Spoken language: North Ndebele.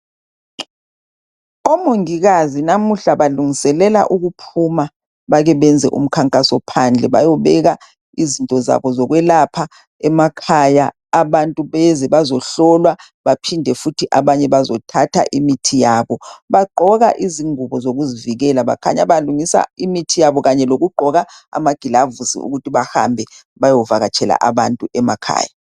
Omongikazi namuhla balungiselela ukuphuma bake benze umkhankaso phandle bayobeka izinto zabo zokwelapha emakhaya . Abantu beze bazohlolwa baphinde futhi abanye bazo thatha imithi yabo. Bagqoka izingubo zokuzivikela bakhanya balungisa imithi yabo lokugqoka amagilavusi ukuthi bahambe bayo vakatshela abantu emakhaya.